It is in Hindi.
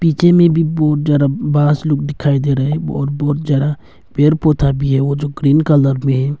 पीछे में भी बहुत सारा बस लोग दिखाई दे रहे है और बहुत ज्यादा पेड़ पौधा भी है वो जो ग्रीन कलर में है।